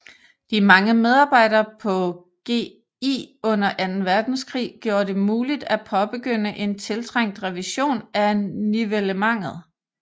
De mange medarbejdere på GI under Anden Verdenskrig gjorde det muligt at påbegynde en tiltrængt revision af nivellementet